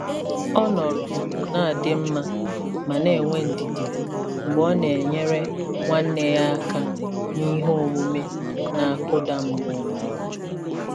Ọ nọrọ na-adị mma ma na-enwe ndidi mgbe ọ na-enyere nwa ya aka n'ihe omume na-akụda mmụọ.